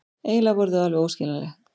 Eiginlega voru þau alveg óaðskiljanleg.